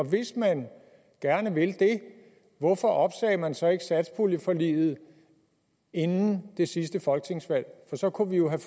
hvis man gerne vil det hvorfor opsagde man så ikke satspuljeforliget inden det sidste folketingsvalg for så kunne vi jo have